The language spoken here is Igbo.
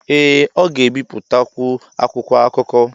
ee ọ ga-ebipụtakwu akwụkwọ akụkọ